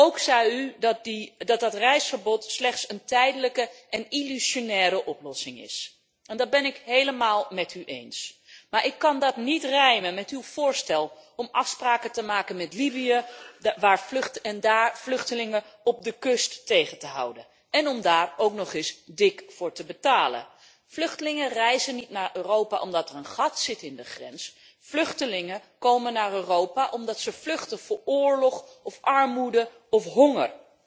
Ook zei u dat dat reisverbod slechts een tijdelijke en illusionaire oplossing is. Dat ben ik helemaal met u eens, maar ik kan dat niet rijmen met uw voorstel om afspraken te maken met Libië en daar vluchtelingen op de kust tegen te houden én om daar ook nog eens dik voor te betalen. Vluchtelingen reizen niet naar Europa omdat er een gat zit in de grens, vluchtelingen komen naar Europa omdat ze vluchten voor oorlog of armoede of honger.